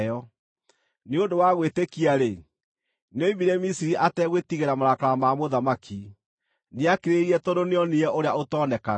Nĩ ũndũ wa gwĩtĩkia-rĩ, nĩoimire Misiri ategwĩtigĩra marakara ma mũthamaki; nĩakirĩrĩirie tondũ nĩoonire Ũrĩa ũtonekaga.